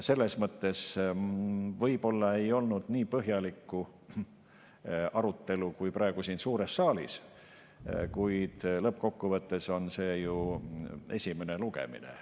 Selles mõttes võib-olla ei olnud nii põhjalikku arutelu kui praegu siin suures saalis, kuid lõppkokkuvõttes on see ju esimene lugemine.